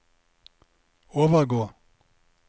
overgå